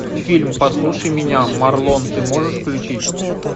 фильм послушай меня марлон ты можешь включить